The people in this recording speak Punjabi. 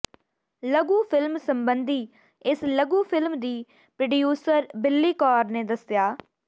ਲਘੂ ਿਫ਼ਲਮ ਸਬੰਧੀ ਇਸ ਲਘੂ ਿਫ਼ਲਮ ਦੀ ਪ੍ਰੋਡਿਊਸਰ ਬਿੱਲੀ ਕੌਰ ਨੇ ਦੱਸਿਆ